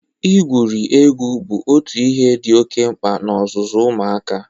Igwuri egwu bụ ọtụ ihe dị oke mkpa n'ọzụzụ ụmụaka.